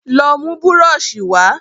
Lọ mú búrọ̀ṣì wa